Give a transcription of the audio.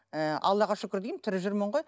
ы аллаға шүкір деймін тірі жүрмін ғой